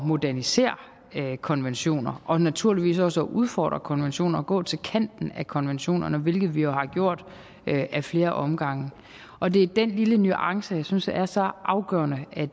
modernisere konventioner og naturligvis også at udfordre konventioner og gå til kanten af konventioner hvilket vi har gjort ad flere omgange og det er den lille nuance jeg synes er så afgørende at